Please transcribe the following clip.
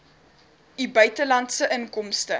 u buitelandse inkomste